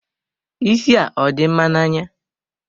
Isi a ọ dị mma n'anya?